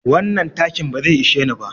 Wannan takin ba zai ishe ni ba.